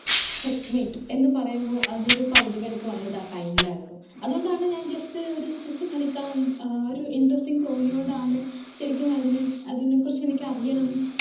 segmate എന്ന് പറയുമ്പോ അതൊരു കൗതുകം എനിക്ക് വന്നത് ആ time ലായിരുന്നു അത്കൊണ്ടാണ് ഞാൻ just ഒരു chess കളിക്കാം ഏർ ഒരു interesting തോന്നിയൊണ്ടാണ് ശെരിക്കും അതിന് അതിനെ കുറിച്ച് എനിക്ക് അറിയണം